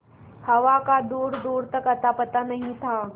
हवा का दूरदूर तक अतापता नहीं था